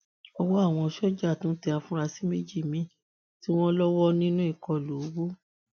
ọwọ àwọn sójà tún tẹ àfúráṣí méjì míín tí wọn lọwọ nínú ìkọlù owó